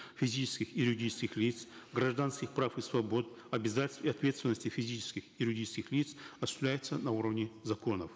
физических и юридических лиц гражданских прав и свобод обязательств и ответственности физических и юридических лиц осуществляется на уровне законов